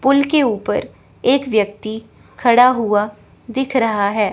पुल के ऊपर एक व्यक्ति खड़ा हुआ दिख रहा है।